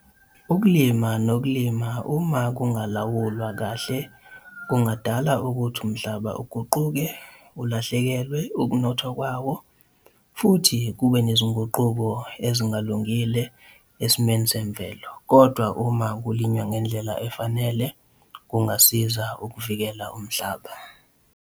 Ukulima nokulima uma kungalawulwa kahle kungadala ukuthi umhlaba uguquke, ulahlekelwe ukunotha kwawo, futhi kube nezinguquko ezingalungile esimeni semvelo. Kodwa, uma kulinywa ngendlela efanele, kungasiza ukuvikela umhlaba.